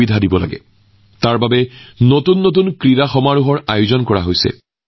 এই চিন্তাধাৰাৰ প্ৰতি লক্ষ্য ৰাখি আজি ভাৰতত নতুন নতুন ক্ৰীড়া প্ৰতিযোগিতাৰ আয়োজন কৰা হৈছে